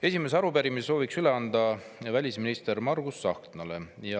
Esimese arupärimise soovime üle anda välisminister Margus Tsahknale.